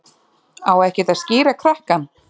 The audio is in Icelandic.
Á ekkert að skíra krakkann?